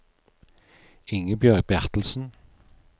Ingebjørg Bertelsen